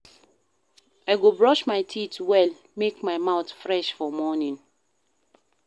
I go brush my teeth well make my mouth fresh for morning.